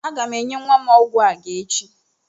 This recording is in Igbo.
Aga m enye nwa m ọgwụ àgá echi.